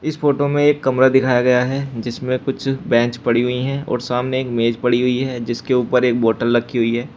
इस फोटो में एक कमरा दिखाया गया है जिसमें कुछ बेंच पड़ी हुई हैं और सामने एक मेज पड़ी हुई है जिसके ऊपर एक बॉटल रखी हुई है।